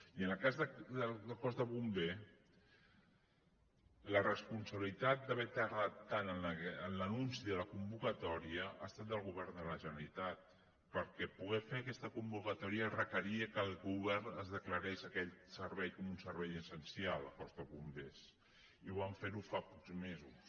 i en el cas del cos de bombers la responsabilitat d’haver tardat tant en l’anunci de la convocatòria ha estat del govern de la generalitat perquè per poder fer aquesta convocatòria es requeria que el govern de·clarés aquell servei com un servei essencial el del cos de bombers i ho van fer fa pocs mesos